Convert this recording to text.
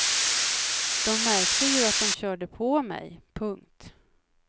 De märkte ju att de körde på mig. punkt